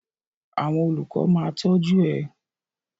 Àwọn olùkọ ma tọju ẹ.